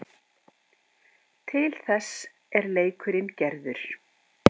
Til þess er leikurinn gerður.